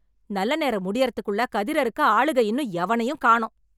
நல்ல நேரம் முடியறத்துக்குள்ள கதிர் அறுக்க ஆளுக இன்னும் எவனையும் காணோம்.